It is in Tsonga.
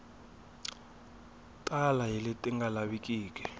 tala hi leti nga lavikiki